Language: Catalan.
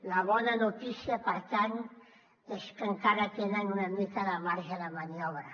la bona notícia per tant és que encara tenen una mica de marge de maniobra